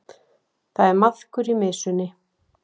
Það er maðkur í mysunni